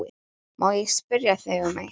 Má ég spyrja þig um eitt?